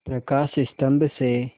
प्रकाश स्तंभ से